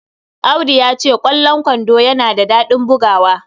Audu ya ce, "Ƙwallon kwando yana da daɗin bugawa."